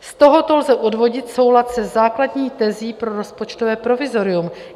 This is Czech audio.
Z tohoto lze odvodit soulad se základní tezí pro rozpočtové provizorium.